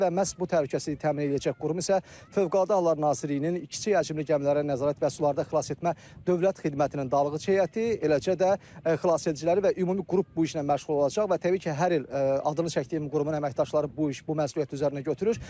Və məhz bu təhlükəsizliyi təmin eləyəcək qurum isə Fövqəladə Hallar Nazirliyinin kiçik həcmli gəmilərə nəzarət və sularda xilas etmə Dövlət Xidmətinin dalğıc heyəti, eləcə də xilasediciləri və ümumi qrup bu işlə məşğul olacaq və təbii ki, hər il adını çəkdiyim qurumun əməkdaşları bu iş, bu məsuliyyəti üzərinə götürür.